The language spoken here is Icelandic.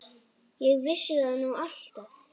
Ég vissi það nú alltaf.